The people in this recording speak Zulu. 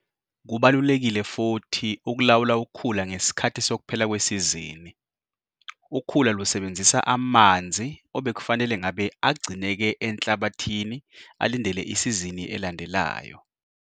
Kubalulekile futhi ukulawula ukhula ngesikhathi sokuphela kwesizini. Ukhula lusebenzisa amanzi obekufanele ngabe agcineke enhlabathini alindele isizini elandelayo.